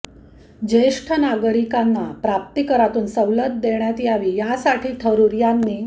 ज्येष्ठ नागरिकांना प्राप्तिकरातून सवलत देण्यात यावी यासाठी थरूर यांनी